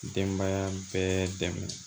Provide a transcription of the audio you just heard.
Denbaya bɛɛ dɛmɛ